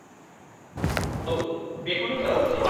औ, बेखौनो खालामसै।